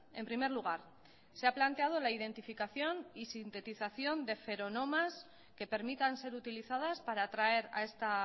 en primer lugar se ha planteado la identificación y sintetización de feronomas que permitan ser utilizadas para atraer a esta